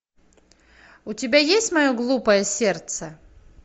у тебя есть мое глупое сердце